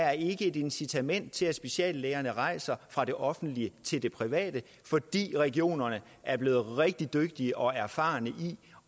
er et incitament til at speciallægerne rejser fra det offentlige til det private fordi regionerne er blevet rigtig dygtige til og erfarne i